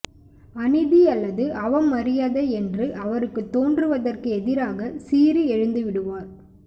அநீதி அல்லது அவமரியாதை என்று அவருக்குத் தோன்றுவதற்கு எதிராகச் சீறி எழுந்துவிடுவார்